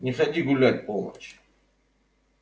не ходи гулять в полночь